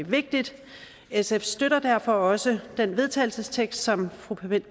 vigtigt sf støtter derfor også den vedtagelsestekst som fru